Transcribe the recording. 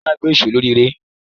Táyà náà gbé ìṣó lórí aré.